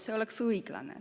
See ei oleks õiglane.